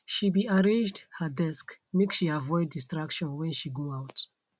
she be arranged her desk make she avoid distraction when she go out